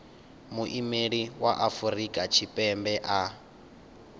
muimeli wa afrika tshipembe a